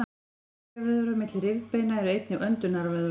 rifjavöðvar milli rifbeina eru einnig öndunarvöðvar